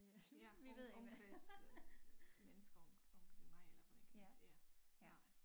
Ja om omkreds øh mennesker om omkring mig eller hvordan kan man sige ja nej